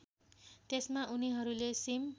त्यसमा उनीहरूले सिम